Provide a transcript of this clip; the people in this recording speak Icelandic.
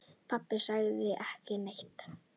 Pabbi sagði ekki neitt.